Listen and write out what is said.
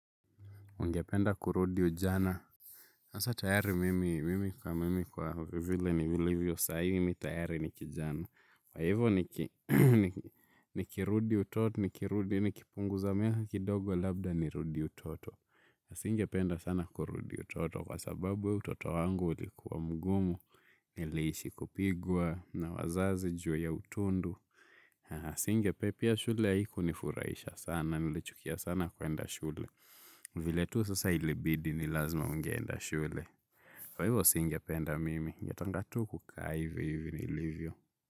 Ungependa kurudi ujana. Asa tayari mimi, mimi kwa mimi kwa vile ni vilivyo saa mi tayari ni kijana. Kwa hivyo nikirudi utoto, ni kirudi, ni kipunguza miaka kidogo labda ni rudi utoto. Singe penda sana kurudi utoto kwa sababu utoto wangu ulikuwa mgumu, niliishi kupigwa, na wazazi juu ya utundu. Asinge pia shule ya haikunifurahisha sana, nilichukia sana kwenda shule. Vile tu sasa ilibidi ni lazima ungeenda shule. Kwa hivyo singe penda mimi. Ningetaka tu kukaa hivi hivi nilivyo.